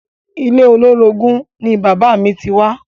Ilé olórogún ni bàbáà mi ti wá.